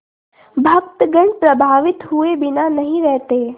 भक्तगण प्रभावित हुए बिना नहीं रहते